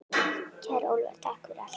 Kæri Ólafur, takk fyrir allt.